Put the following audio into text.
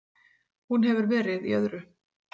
Hún hefur verið í öðru.